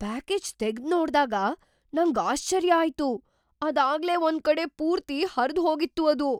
Package ತೆಗ್ದ್ ನೋಡ್ದಾಗ ನಂಗ್ ಆಶ್ಚರ್ಯ ಆಯ್ತು, ಅದಾಗ್ಲೇ ಒಂದ್ಕಡೆ ಪೂರ್ತಿ ಹರ್ದ್ ಹೋಗಿತ್ತು ಅದು!